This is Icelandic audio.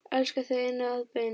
Elska þig inn að beini.